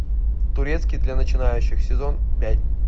турецкий для начинающих сезон пять